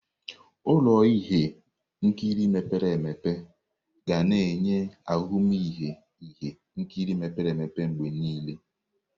Ụlọ ihe nkiri mepere emepe ga na-enye ahụmịhe ihe nkiri mepere emepe mgbe niile.